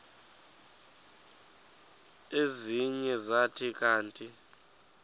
ezinye zathi kanti